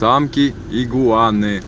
танки игуаны